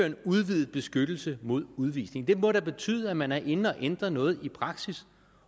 en udvidet beskyttelse mod udvisning det må da betyde at man er inde at ændre noget i praksis